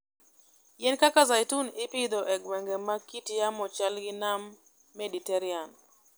Yien kaka zeituni ipidho e gwenge ma kit yamo chal gi Nam Mediterania.